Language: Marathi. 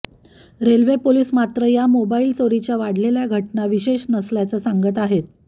रेल्वे पोलीस मात्र या मोबाईल चोरीच्या वाढलेल्या घटना विशेष नसल्याचं सांगत आहेत